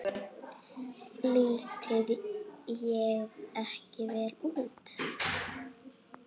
Lít ég ekki vel út?